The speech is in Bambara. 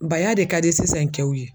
Baya de ka di sisan kɛw ye.